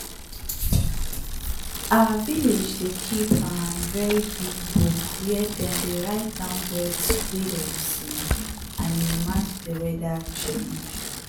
our village dey kip um very big book where dem dey write down birds wey dem see and e match dey weather change.